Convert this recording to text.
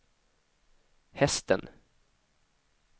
hästen